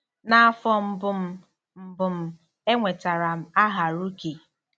N'afọ mbụ m, mbụ m, enwetara m aha rookie.